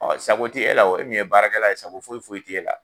Sago tɛ e la o, e min ye baarakɛla ye sago foyi foyi t'e la.